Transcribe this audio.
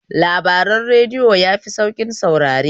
Labaran radiyo yafi sauƙin saurare